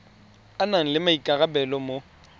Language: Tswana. a nang le maikarabelo mo